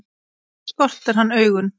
Ekki skortir hann augun.